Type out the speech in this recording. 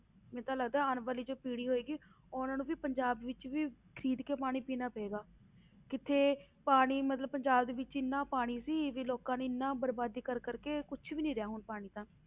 ਮੈਨੂੰ ਤਾਂ ਲੱਗਦਾ ਆਉਣ ਵਾਲੀ ਜੋ ਪੀੜ੍ਹੀ ਹੋਏਗੀ, ਉਹਨਾਂ ਨੂੰ ਵੀ ਪੰਜਾਬ ਵਿੱਚ ਵੀ ਖ਼ਰੀਦ ਕੇ ਪਾਣੀ ਪੀਣਾ ਪਏਗਾ ਕਿੱਥੇ ਪਾਣੀ ਮਤਲਬ ਪੰਜਾਬ ਦੇ ਵਿੱਚ ਇੰਨਾ ਪਾਣੀ ਸੀ ਵੀ ਲੋਕਾਂ ਨੇ ਇੰਨਾ ਬਰਬਾਦ ਕਰ ਕਰਕੇ ਕੁਛ ਵੀ ਨੀ ਰਹਿਆ ਹੁਣ ਪਾਣੀ ਤਾਂ